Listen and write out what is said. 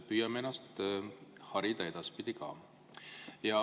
Püüame ennast harida edaspidi ka.